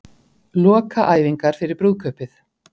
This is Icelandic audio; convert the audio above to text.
Lokaæfingar fyrir brúðkaupið